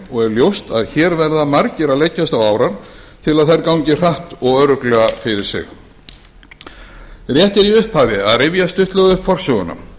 og er ljóst að hér verða margir að leggjast á árarnar til að þær gangi hratt og örugglega fyrir sig rétt er í upphafi að rifja stuttlega upp forsöguna